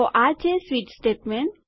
તો આ છે સ્વિચ સ્ટેટમેન્ટ